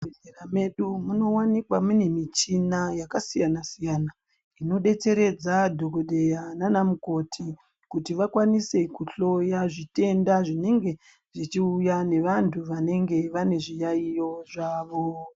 Muzvibhedhlera medu munowanikwa mune michina yakasiyana siyana inodetseredza dhokodheya nana mukoti kuti vakwanise kuhloya zvitenda zvinege zvichiuya vantu vanenge vane zviyaiyo zvawo.